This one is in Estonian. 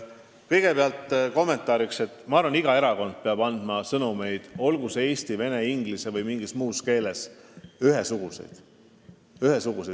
Kõigepealt kommentaariks: ma arvan, et iga erakond peab andma ühesuguseid sõnumeid, olgu eesti, vene, inglise või mingis muus keeles.